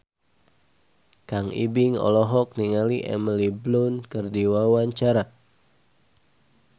Kang Ibing olohok ningali Emily Blunt keur diwawancara